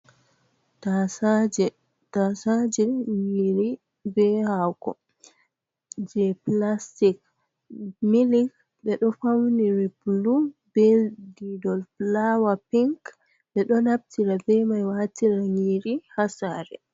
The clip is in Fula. Tasaje, tasaje ɗum nyiri be hako je pilastic milik ɓeɗo fauniri bulu be didol fulawa pink, ɓeɗo naftira bemai watira nyiri ha sare.